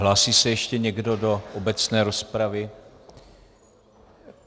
Hlásí se ještě někdo do obecné rozpravy?